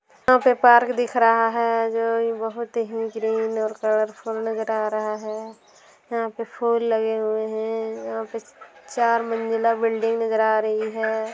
यहां पे पार्क दिख रहा है जो इ बहुत ही ग्रीन और कलरफुल नजर आ रहा है यहां पे फूल लगे हुए है यहां पे चार मंजिला बिल्डिंग नजर आ रही है।